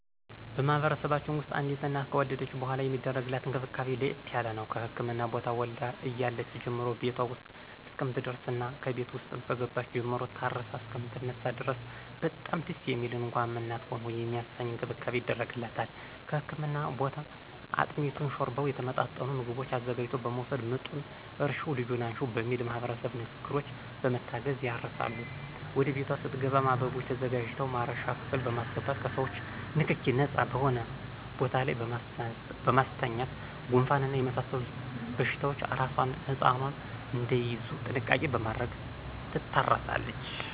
በማህበረሰባችን ውስጥ አዲስ እናት ከወለደች በሗላ የሚደረግላት እንክብካቤ ለየት ያለ ነው። ከህክምና ቦታ ወልዳ እያለች ጀምሮ ቤቷ ውስጥ እስከምትደርስና ከቤት ውስጥም ከገባች ጀምሮ ታርሳ እሰከምትነሳ ድረስ በጣም ደስ የሚል እንኳንም እናት ሆንሁ የሚያሰኝ እንክብካቤ ይደረግላታል ከህክምና ቦታ አጥሚቱን: ሾርባውና የተመጣጠኑ ምግቦችን አዘጋጅቶ በመወሰድ ምጡን እርሽው ልጁን አንሽው በሚል ማህበረሰባዊ ንግግሮች በመታገዝ ያርሳሉ ወደ ቤቷ ስትሄድም አበባዎች ተዘጋጅተው ማረሻ ክፍል በማሰገባት ከሰዎቾ ንክኪ ነጻ በሆነ ቦታ ላይ በማስተኛት ጉንፋንና የመሳሰሉት በሽታዎች አራሷና ህጻኑ እዳይያዙ ጥንቃቄ በማድረግ ትታረሳለች።